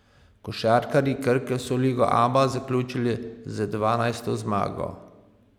Košarkarji Krke so ligo Aba zaključili z dvanajsto zmago.